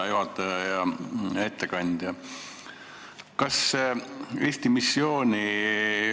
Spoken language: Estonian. Hea juhataja ja ettekandja!